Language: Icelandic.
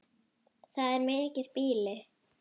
Það er mikið býli.